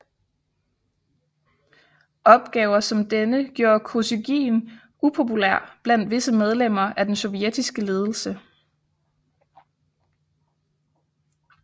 Opgaver som denne gjorde Kosygin upopulær blandt visse medlemmer af den sovjetiske ledelse